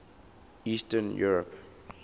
eastern europe